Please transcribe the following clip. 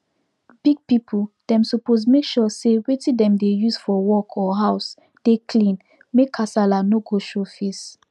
big people dem suppose make sure say wetin dem dey use for work or house dey clean make kasala no go show face